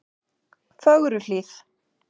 Fögruhlíð